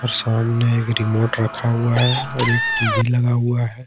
सामने एक रिमोट रखा हुआ है और एक टी_वी लगा हुआ है।